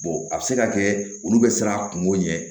a bɛ se ka kɛ olu bɛ siran a kungo ɲɛ